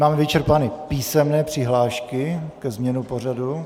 Máme vyčerpány písemné přihlášky ke změně pořadu.